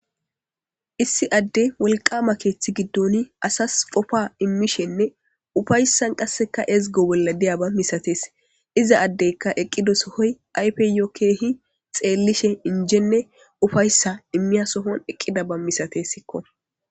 issi adde wolqama keeththi giddoni asas qofa immishenne ufaysan qasseka ezgo bolla de'ya ba misatees iza addeykka eqqido sohoy ayfeyokeehi xeellishe injenne ufayssa immiya sohon eqqida ba misatessikko